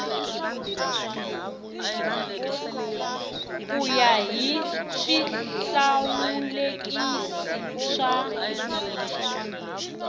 ku ya hi swihlawulekisi swa